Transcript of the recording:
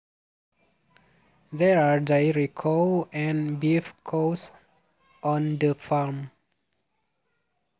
There are dairy cow and beef cows on the farm